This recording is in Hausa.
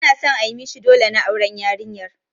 Ana son ayi mishi ɗole na auren yarinyar.